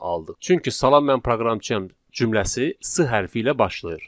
Çünki salam mən proqramçıyam cümləsi S hərfi ilə başlayır.